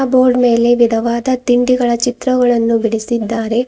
Board ಮೇಲೆ ವಿಧವಾದ ತಿಂಡಿಗಳ ಚಿತ್ರಗಳನ್ನು ಬಿಡಿಸಿದ್ದಾರೆ.